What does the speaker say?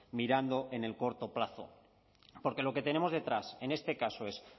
mirando en el corto plazo porque lo que tenemos detrás en este caso es